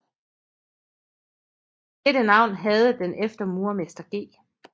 Dette navn havde den efter murermester G